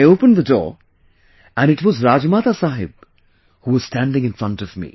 I opened the door and it was Rajmata Sahab who was standing in front of me